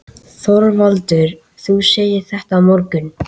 ÞORVALDUR: Þú segir þetta á morgun?